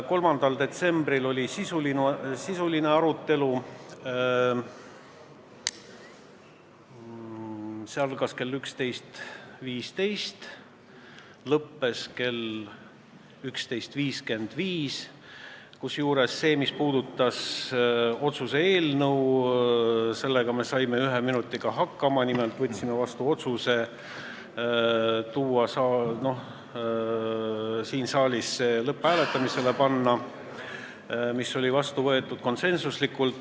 3. detsembril oli sisuline arutelu, see algas kell 11.15 ja lõppes kell 11.55, kusjuures sellega, mis puudutas seda otsuse eelnõu, me saime ühe minutiga hakkama, nimelt me võtsime konsensuslikult vastu otsuse siin saalis see eelnõu lõpphääletusele panna.